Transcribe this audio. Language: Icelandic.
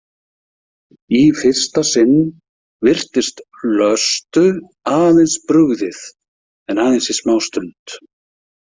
Í fyrsta sinn virtist Vlöstu aðeins brugðið en aðeins í smástund.